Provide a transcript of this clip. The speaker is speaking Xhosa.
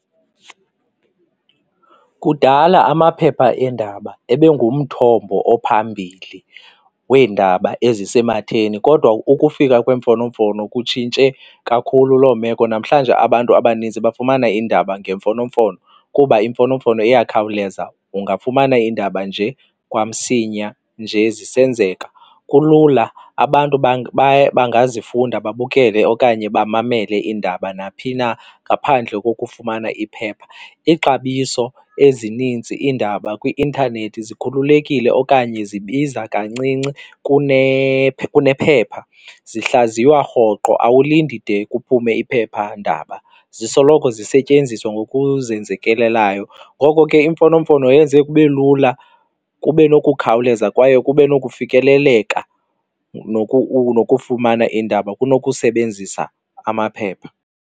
Kudala amaphepha eendaba ebe ngumthombo ophambili weendaba ezisematheni kodwa ukufika kweemfonomfono kutshintshe kakhulu loo meko. Namhlanje abantu abanintsi bafumana iindaba ngemfonomfono kuba iimfonomfono iyakhawuleza ungafumana iindaba nje kwamsinya nje zisenzeka. Kulula abantu bangazifunda, babukele okanye bamamele iindaba naphi na ngaphandle kokufumana iphepha. Ixabiso ezininzi iindaba kwi-intanethi zikhululekile okanye zibiza kancinci kunephepha, zihlaziywa rhoqo awulindi de kuphume iphephandaba zisoloko zisetyenziswa ngokuzenzekelayo. Ngoko ke iimfonomfono yenze kube lula kube nokukhawuleza kwaye kube nokufikeleleka nokufumana iindaba kunokusebenzisa amaphepha.